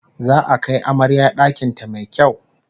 Za'a kai amarya dakin ta mai kyau